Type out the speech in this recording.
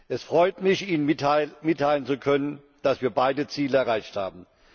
Es freut mich, Ihnen mitteilen zu können, dass wir beide Ziele erreicht haben.